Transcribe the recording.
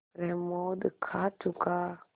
प्रमोद खा चुका